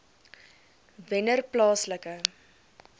wennerplaaslike